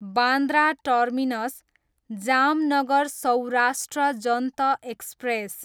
Bandra terminus, Jamnagar Saurashtra Janta express